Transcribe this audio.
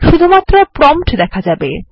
শুধুমাত্র প্রম্পট দেখা যাবে